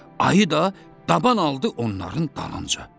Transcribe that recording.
Ayı da taban aldı onların dalınca.